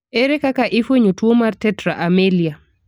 Ere kaka ifuenyo tuo mar tetra amelia?